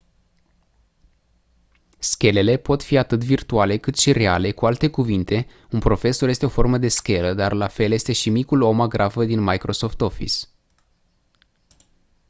schelele pot fi atât virtuale cât și reale cu alte cuvinte un profesor este o formă de schelă dar la fel este și micul om agrafă din microsoft office